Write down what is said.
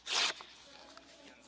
ani nie atakuje.